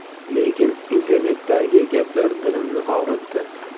Lekin internetdagi gaplar dilimni og‘ritdi.